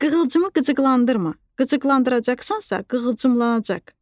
Qığılcımı qıcıqlandırma, qıcıqlandıracaqsansa, qığılcımlanacaq.